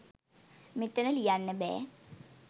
මෙතන ලියන්න බෑ